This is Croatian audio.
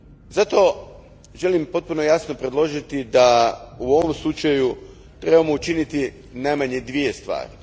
Zato, želim potpuno jasno predložiti da u ovom slučaju trebamo učiniti najmanje dvije stvari.